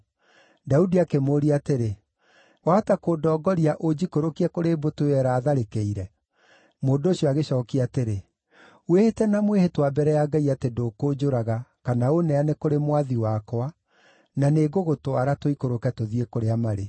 Daudi akĩmũũria atĩrĩ, “Wahota kũndongoria ũnjikũrũkie kũrĩ mbũtũ ĩyo ĩraatharĩkĩire?” Mũndũ ũcio agĩcookia atĩrĩ, “Wĩhĩte na mwĩhĩtwa mbere ya Ngai atĩ ndũkũnjũraga, kana ũneane kũrĩ mwathi wakwa, na nĩngũgũtwara, tũikũrũke tũthiĩ kũrĩa marĩ.”